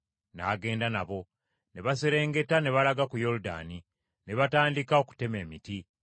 N’agenda nabo. Ne baserengeta ne balaga ku Yoludaani, ne batandika okutema emiti.